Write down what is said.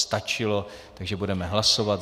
Stačilo, takže budeme hlasovat.